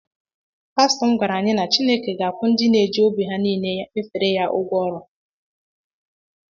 pastọ m gwara anyị na Chineke na-akwụ ndị na eji obi ha niile efe ya ụgwọ ọrụ